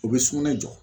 U bɛ sugunɛ jɔ